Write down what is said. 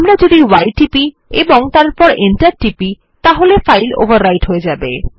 আমরা যদি y টিপি এবং তারপর Enter টিপি তাহলে ফাইল ওভাররাইট হয়ে যায়